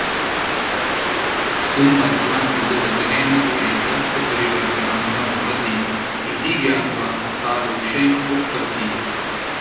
सुमध्या मृदुवचनेन तु एतस्य परिवर्तनं न भवति इति ज्ञात्वा सा रोषेण उक्तवती